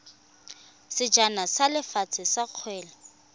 sejana sa lefatshe sa kgwele